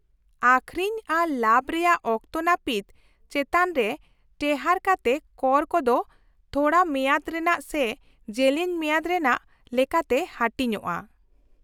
-ᱟᱹᱠᱷᱨᱤᱧ ᱟᱨ ᱞᱟᱵᱷ ᱨᱮᱭᱟᱜ ᱚᱠᱛᱚ ᱱᱟᱹᱯᱤᱛ ᱪᱮᱛᱟᱱ ᱨᱮ ᱴᱮᱦᱟᱴ ᱠᱟᱛᱮ ᱠᱚᱨ ᱠᱚᱫᱚ ᱛᱷᱚᱲᱟᱢᱮᱭᱟᱫ ᱨᱮᱱᱟᱜ ᱥᱮ ᱡᱮᱞᱮᱧ ᱢᱮᱭᱟᱫ ᱨᱮᱱᱟᱜ ᱞᱮᱠᱟᱛᱮ ᱦᱟᱹᱴᱤᱧᱚᱜᱼᱟ ᱾